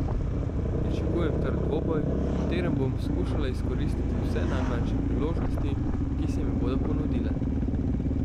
Pričakujem trd dvoboj, v katerem bom skušala izkoristiti vse najmanjše priložnosti, ki se mi bodo ponudile.